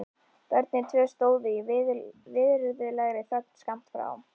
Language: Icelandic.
Börnin tvö stóðu í virðulegri þögn skammt frá.